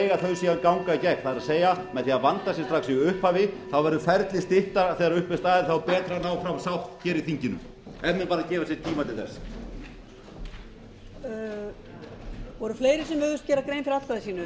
því fyrr mega þau síðan ganga í gegn það er með því að vanda sig strax í upphafi verður ferlið styttra þegar upp er staðið þá er betra að ná fram sátt hér í þinginu ef menn bara gefa sér tíma til þess